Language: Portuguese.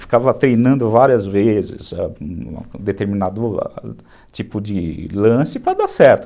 Ficava treinando várias vezes um determinado tipo de lance para dar certo.